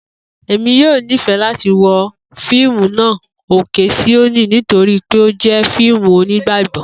Emi yoo nifẹ lati wo fiimu naa 'Oke Sioni' nitori pe o jẹ fiimu Onigbagbọ.